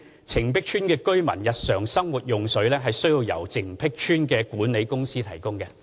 澄碧邨居民日常生活用水須由澄碧邨管理公司提供。